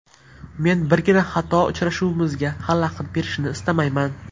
Men birgina xato uchrashuvimizga xalaqit berishini istamayman.